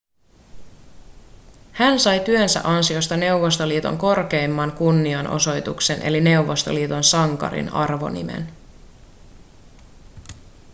hän sai työnsä ansiosta neuvostoliiton korkeimman kunnianosoituksen eli neuvostoliiton sankarin arvonimen